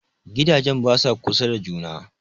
Gidajen basa kusa da juna